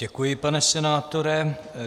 Děkuji, pane senátore.